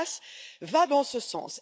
Balas, va dans ce sens.